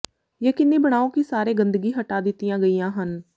ਯਕੀਨੀ ਬਣਾਓ ਕਿ ਸਾਰੇ ਗੰਦਗੀ ਹਟਾ ਦਿੱਤੀਆਂ ਗਈਆਂ ਹਨ